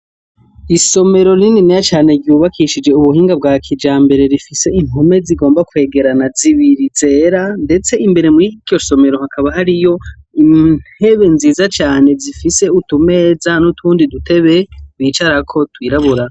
Isomero rininiya cane ryubakishije ubuhinga bwa kijambere rifise impome zigomba kwegerana zibiri zera ,ndetse imbere mwiryo somero hakaba hariyo intebe nziza cane zifise utumeza nutundi dutebe bicarako twirabura.